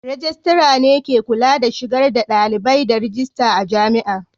Rejistira ne ke kula da shigar da dalibai da rajista a Jami'ar.